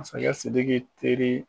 Masakɛ Sidiki teri